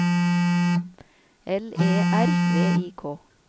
L E R V I K